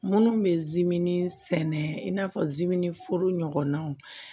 Minnu bɛ sɛnɛ in n'a fɔ foro ɲɔgɔnnaw